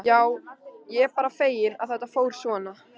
Já, ég er bara feginn að þetta fór svona.